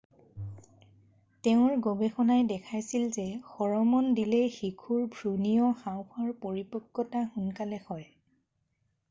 তেওঁৰ গৱেষণাই দেখাইছিল যে হৰম'ন দিলে শিশুৰ ভ্ৰূণীয় হাওঁফাওঁৰ পৰিপক্কতা সোনকালে হয়